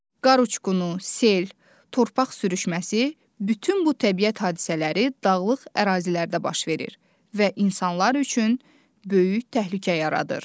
Qar uçqunu, sel, torpaq sürüşməsi, bütün bu təbiət hadisələri dağlıq ərazilərdə baş verir və insanlar üçün böyük təhlükə yaradır.